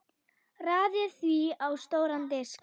Raðið því á stóran disk.